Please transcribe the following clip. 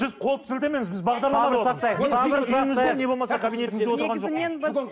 сіз қолды сілтемеңіз біз бағдарламада